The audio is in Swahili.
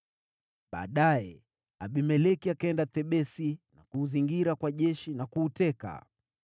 Baadaye Abimeleki akaenda Thebesi na kuuzingira kwa jeshi na kuuteka.